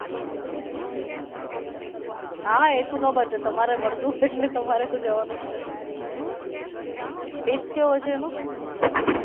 હમ્મ હા હા એ તો ખબર છે તમારે મલતું હોઈ એટલે તમારે તો જવાનું જ છે taste કેવો છે એનો.